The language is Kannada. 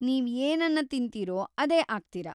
ನೀವ್‌ ಏನನ್ನ ತಿನ್ತಿರೋ ಅದೇ ಆಗ್ತೀರಾ.